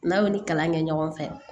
N'aw ni kalan kɛ ɲɔgɔn fɛ